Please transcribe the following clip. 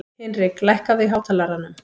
Hinrik, lækkaðu í hátalaranum.